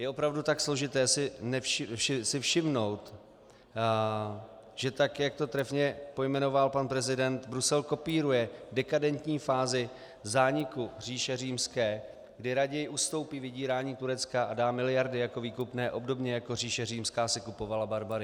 Je opravdu tak složité si všimnout, že tak, jak to trefně pojmenoval pan prezident, Brusel kopíruje dekadentní fázi zániku říše Římské, kdy raději ustoupí vydírání Turecka a dá miliardy jako výkupné obdobně jako říše Římská si kupovala barbary?